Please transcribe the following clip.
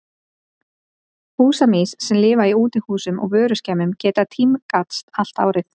Húsamýs sem lifa í útihúsum og vöruskemmum geta tímgast allt árið.